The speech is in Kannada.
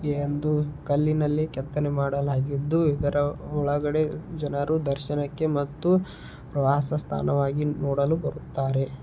ಈ ಒಂದು ಕಲ್ಲಿನಲ್ಲಿ ಕೆತ್ತನೆ ಮಾಡಲಾಗಿದ್ದು. ಇದರ ಒಳಗಡೆ ಜನರು ದರ್ಶನಕ್ಕೆ ಮತ್ತು ಪ್ರವಾಸ ಸ್ಥಾನವಾಗಿ ನೋಡಲು ಬರುತ್ತಾರೆ.